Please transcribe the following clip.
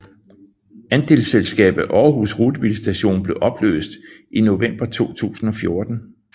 Andelsselskabet Aarhus rutebilstation blev opløst i november 2017